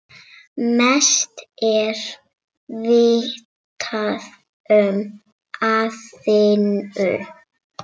Mest er vitað um Aþenu.